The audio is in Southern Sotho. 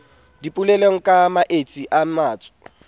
dipolelong ka maetsi a matso